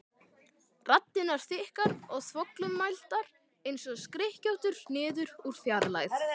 Raddirnar þykkar og þvoglumæltar einsog skrykkjóttur niður úr fjarlægð.